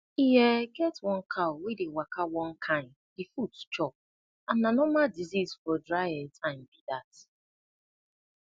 e um get one cow wey dey waka one kain the foot chop and na normal disease for dry um time be that